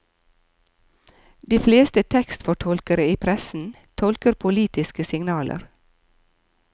De fleste tekstfortolkere i pressen tolker politiske signaler.